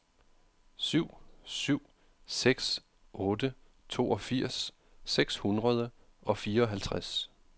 syv syv seks otte toogfirs seks hundrede og fireoghalvtreds